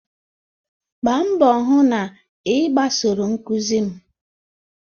Gbaa mbọ hụ na ị gbasoro nkuzi m!